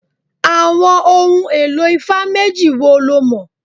Àwọn ohun èlò ifá méjì wo lo mọ̀?